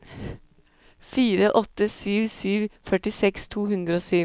fire åtte sju sju førtiseks to hundre og sju